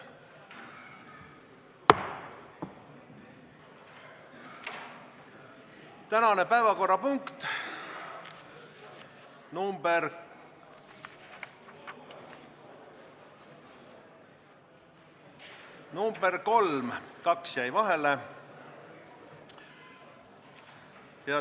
Tänane päevakorrapunkt nr 3 – nr 2 langes ära.